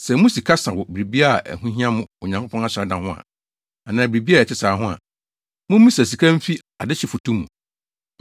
Sɛ mo sika sa wɔ biribi a ɛho hia mo Onyankopɔn asɔredan ho anaa biribi a ɛte saa ho a, mummisa sika mfi adehye foto mu.